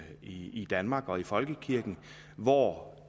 i danmark og i folkekirken hvor